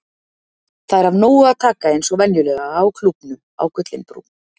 Það er af nógu að taka eins og venjulega á Klúbbnum á Gullinbrú.